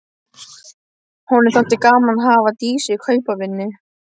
Honum þótti gaman að hafa Dísu í kaupavinnu.